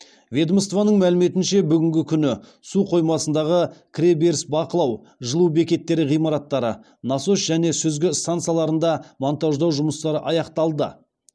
ведомствоның мәліметінше бүгінгі күні су қоймасындағы кіре беріс бақылау жылу бекеттері ғимараттары насос және сүзгі стансаларында монтаждау жұмыстары аяқталды